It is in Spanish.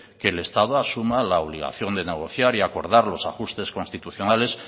que el estado asuma la obligación de negociar y acordar los ajustes constitucionales